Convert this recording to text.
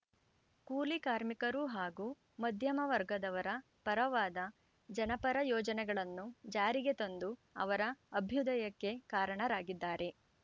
ಕೂಲಿ ಕಾರ್ಮಿಕರು ಹಾಗೂ ಮಧ್ಯಮ ವರ್ಗದವರ ಪರವಾದ ಜನಪರ ಯೋಜನೆಗಳನ್ನು ಜಾರಿಗೆ ತಂದು ಅವರ ಅಭ್ಯುದಯಕ್ಕೆ ಕಾರಣರಾಗಿದ್ದಾರೆ